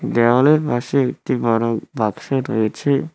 দেওয়ালের পাশে একটি বড় বাক্স রয়েছে।